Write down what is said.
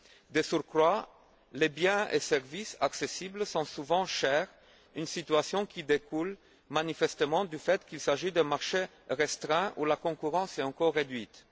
De surcroît, les biens et services accessibles sont souvent chers, une situation qui découle manifestement du fait qu'il s'agit d'un marché restreint où la concurrence est encore réduite.